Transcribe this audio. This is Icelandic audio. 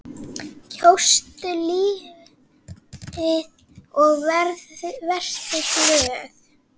Kjóstu lífið og vertu glöð.